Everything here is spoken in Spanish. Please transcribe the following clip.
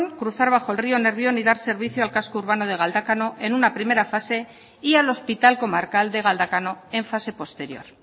cruzar bajo el río nervión y dar servicio al casco urbano de galdácano en una primera fase y al hospital comarcal de galdácano en fase posterior